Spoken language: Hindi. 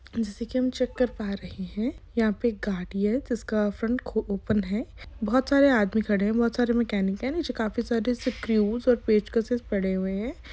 जैसा कि हम ये चेक कार पा रहै है यह पर एक गाड़ी है जिसका फ्रन्ट ओपन है बहुत सारे आदमी खड़े हुए है बहुत सारे मकेनिक है पड़े हुए है|